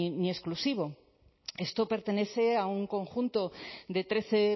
ni exclusivo esto pertenece a un conjunto de trece